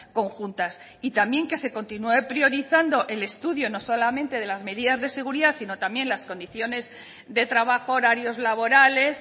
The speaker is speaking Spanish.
conjuntas y también que se continúe priorizando el estudio no solamente de las medidas de seguridad sino también las condiciones de trabajo horarios laborales